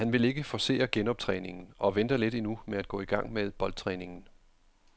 Han vil ikke forcere genoptræningen og venter lidt endnu med at gå i gang med boldtræningen.